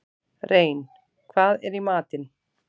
Rein, hvað er í matinn?